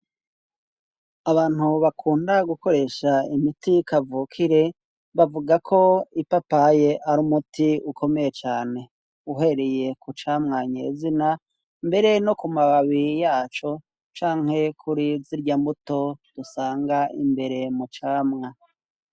Abantu bakunda gukoresha imiti kavukire bavuga ko ipapaye ari umuti ukomeye cane. Uhereye ku camwa nye zina mbere no ku mababi yaco canke kuri zirya mbuto dusanga imbere mu camwa.